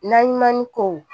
Naɲuman ni kow